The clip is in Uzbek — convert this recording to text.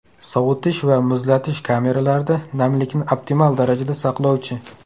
Sovitish va muzlatish kameralarida namlikni optimal darajada saqlovchi.